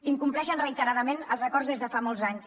incompleixen reiteradament els acords des de fa molts anys